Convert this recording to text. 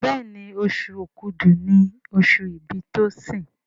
Béèni Oṣù Òkúdu ní oṣù ibì Tosin.